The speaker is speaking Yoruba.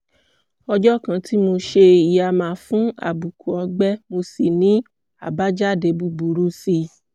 ọjọ́ kan tí mo ṣe ìyàmá fún àbùkù ọ̀gbẹ́ mo sì ní àbájáde búburú sí i